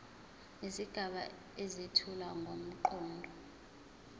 izigaba ezethula ngomqondo